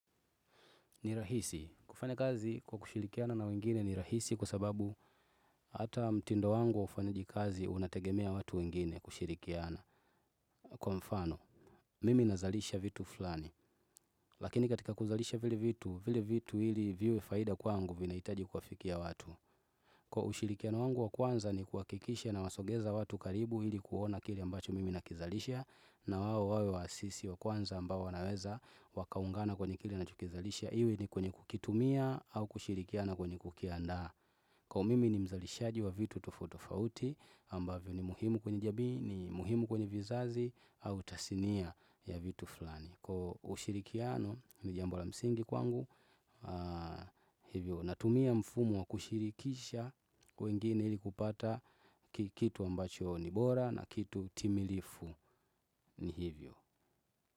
Nirahisi. Kufanya kazi kwa kushirikiana na wengine nirahisi kwasababu hata mtindo wangu wa ufanyajikazi unategemea watu wengine kushirikiana. Kwa mfano, mimi nazalisha vitu fulani. Lakini katika kuzalisha vile vitu, vile vitu ili viwe faida kwangu vinahitaji kawafikia watu. Kwa ushirikiano wangu wa kwanza ni kuhakikisha nawasongeza watu karibu ili kuona kile ambacho mimi nakizalisha na wao wawe wa asisi wa kwanza ambao wanaweza wakaungana kwa kile niinachokizalisha. Iwe ni kwenye kukitumia au kushirikiana kwenye kukiandaa. Kwa mimi ni mzalishaji wa vitu tofauti tofauti ambavyo ni muhimu kwenye jamii ni muhimu kwenye vizazi au tasinia ya vitu fulani. Kwa ushirikiano ni jambo la msingi kwangu hivyo. Natumia mfumo wa kushirikisha wengine ilikupata kitu ambacho nibora na kitu timilifu ni hivyo.